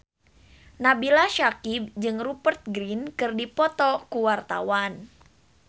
Nabila Syakieb jeung Rupert Grin keur dipoto ku wartawan